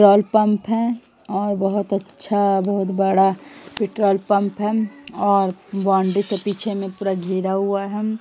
Petrol pump है और बोहत अच्छा बहोत बड़ा पेट्रोल पंप है और बाउंड्री के पीछे में पूरा घेरा हुआ है।